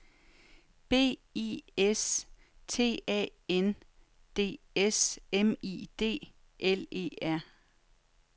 B I S T A N D S M I D L E R